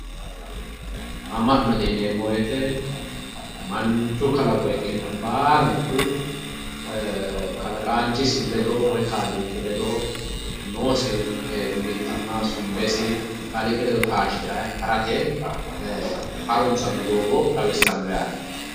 Ama'note yineemmo woyte manchu kalaqo ikkinohu baalunku kalaqanchisi ledo woyi kaaliiqi ledo noosi mittimma sumbesi kaaliiqi taashiranni harate harunsano doogo xawisano yaate.